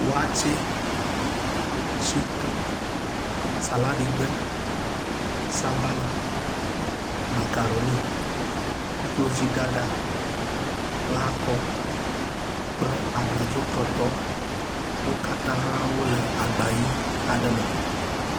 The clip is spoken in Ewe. Waste, shotɔ, salaɖi gbe, sabala, makaroni, koklozi ɖaɖa, lãkɔ kple abladzotɔtɔ wo katã wole agba ʋi aɖe me